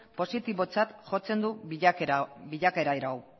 positibotzat jotzen du bilakaera hau